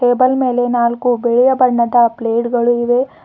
Table ಮೇಲೆ ನಾಲ್ಕು ಬಿಳಿಯ ಬಣ್ಣದ ಪ್ಲೇಟ್ಗಳು ಇವೆ.